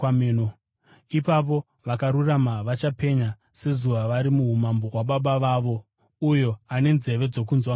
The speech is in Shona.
Ipapo vakarurama vachapenya sezuva vari muumambo hwaBaba vavo. Uyo ane nzeve dzokunzwa ngaanzwe.